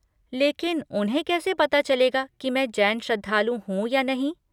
लेकिन उन्हें कैसे पता चलेगा कि मैं जैन श्रद्धालु हूँ या नहीं?